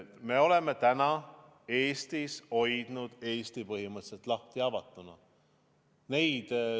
Me oleme praegu hoidnud Eesti põhimõtteliselt avatuna.